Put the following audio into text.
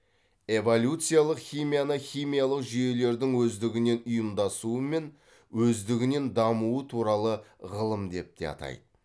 эволюциялық химияны химиялық жүйелердің өздігінен ұйымдасуы мен өздігінен дамуы туралы ғылым деп те атайды